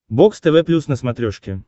бокс тв плюс на смотрешке